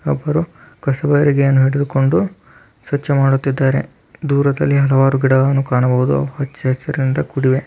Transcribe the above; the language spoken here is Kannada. ಇಬ್ಬರು ಕಸಬಾರಿಗೆ ಇಡಿದುಕೊಂಡು ಸ್ವಚ್ಛ ಮಾಡುತ್ತಿದಾರೆ ದೂರದಲ್ಲಿ ಹಲವಾರು ಗಿಡ್ಡಗಳನ್ನು ಕಾಣಬಹುದು ಹಚ್ಚ ಹಸರಿಂದ ಕೂಡಿವೆ.